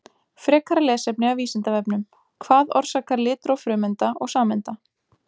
Frekara lesefni af Vísindavefnum: Hvað orsakar litróf frumeinda og sameinda?